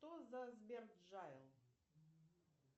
что за сбер джайл